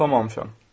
Sumamışam.